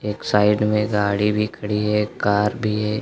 एक साइड में गाड़ी भी खड़ी है एक कार भी है।